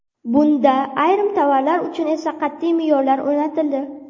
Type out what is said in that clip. Bunda ayrim tovarlar uchun esa qat’iy me’yorlar o‘rnatildi.